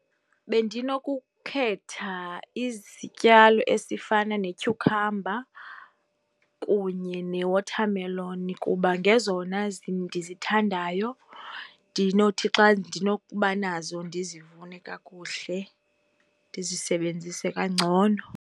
Bendinokukhetha izityalo esifana ne-cucumber kunye ne-watermelon kuba ngezona ndizithandayo, ndinothi xa ndinokuba nazo ndizivune kakuhle, ndisebenzise kangcono.